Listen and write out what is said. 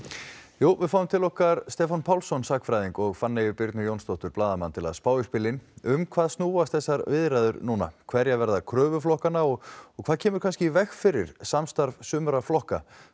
jú við fáum til okkar Stefán Pálsson sagnfræðing og Fanneyju Birnu Jónsdóttur blaðamann til að spá í spilin um hvað snúast þessar viðræður núna hverjar verða kröfur flokkanna og og hvað kemur í veg fyrir samstarf sumra flokka